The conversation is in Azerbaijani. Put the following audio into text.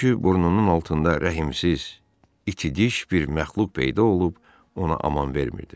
Çünki burnunun altında rəhimsiz, iti diş bir məxluq peyda olub ona aman vermirdi.